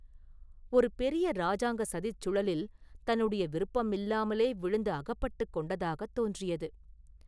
ஒரு பெரிய இராஜாங்கச் சதிச் சுழலில் தன்னுடைய விருப்பமில்லாமலே விழுந்து அகப்பட்டுக் கொண்டதாகத் தோன்றியது.